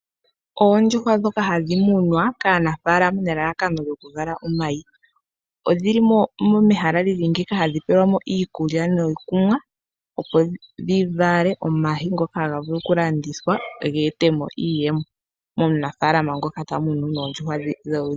Oondjuhwa ndhoka hadhi munwa kaanafaalama nelalakano dhokuvala omayi. Odhi li mehala limwe mono hadhi pelwa iikulya nokunwa opo dhi vale omayi ngoka haga landithwa ge ete po iiyemo komunafaalama ngoka tamu nu oondjuhwa dhe.